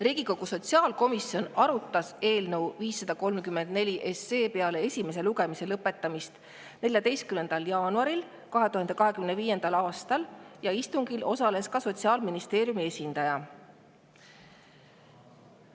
Riigikogu sotsiaalkomisjon arutas eelnõu 534 peale esimese lugemise lõpetamist 14. jaanuaril 2025. aastal ja istungil osales ka Sotsiaalministeeriumi esindaja.